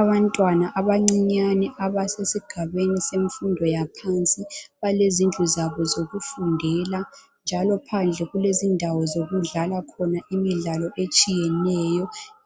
Abantwana abancinyane abasesesigameni semfundo yaphansi balezindlu zabo zokufundela njalo phandle kulezindawo zokudlala khona imidlalo etshiyeneyo